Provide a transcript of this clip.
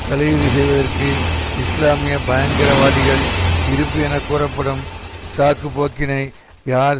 தலையீடு செய்வதற்கு இஸ்லாமிய பயங்கரவாதிகள் இருப்பு என கூறப்படும் சாக்கு போக்கினை யார்